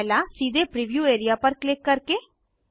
पहला सीधे preview area पर क्लिक करके 2